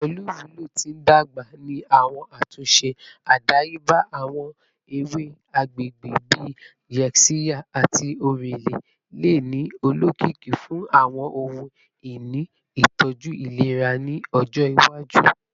Pẹlu iwulo ti ndagba ni awọn atunṣe adayeba, awọn ewe agbegbe bii yaxiya ati orele le ni olokiki fun awọn ohun-ini itọju ailera ni ọjọ iwaju.